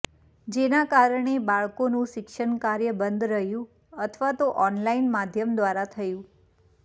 જેના કારણે બાળકોનું શિક્ષણકાર્ય બંધ રહ્યું અથવા તો ઓનલાઇન માધ્યમ દ્વારા થયું